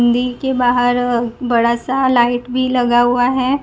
League के बाहर बड़ा सा लाइट भी लगा हुआ है।